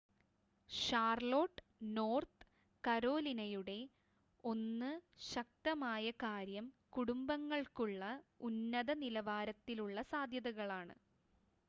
Charlotte North കരോലിനയുടെ 1 ശക്തമായ കാര്യം കുടുംബങ്ങൾക്കുള്ള ഉന്നത-നിലവാരത്തിലുള്ള സാദ്ധ്യതകളാണ്